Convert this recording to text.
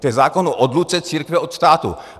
To je zákon o odluce církve od státu.